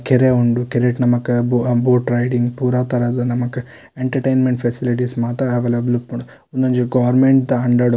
ಕೆರೆ ಉಂಡು ಕೆರೆಟ್ ನಮಕ್ ಬೋ ಹ ಬೋಟ್ ರೈಡಿಂಗ್ ಪೂರ ತರದ ನಮಕ್ ಎಂಟರ್ಟೈನ್ಮೆಂಟ್ ಫೆಸಿಲಿಟಿಸ್ ಮಾತ ಅವೈಲೇಬಲ್ ಉಪ್ಪುಂಡು ಉಂದೊಂಜಿ ಗೋರ್ಮೆಂಟ್ ದ ಅಂಡರ್ .